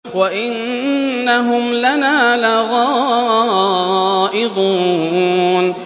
وَإِنَّهُمْ لَنَا لَغَائِظُونَ